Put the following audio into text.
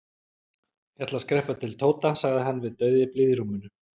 Ég ætla að skreppa til Tóta sagði hann við dauðyflið í rúminu.